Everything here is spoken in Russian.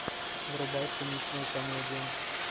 врубай циничную комедию